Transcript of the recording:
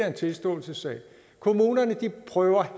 en tilståelsessag kommunerne prøver